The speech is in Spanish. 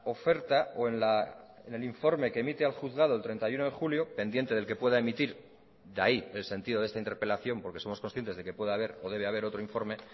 oferta o en el informe que emite al juzgado el treinta y uno de julio pendiente del que pueda emitir de ahí el sentido de esta interpelación porque somos conscientes de que pueda haber o debe haber otro informe